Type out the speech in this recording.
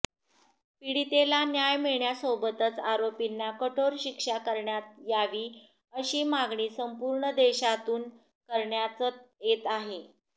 पीडितेला न्याय मिळण्यासोबतच आरोपींना कठोर शिक्षा करण्यात यावी अशी मागणी संपूर्ण देशातून करण्याचत येत आहे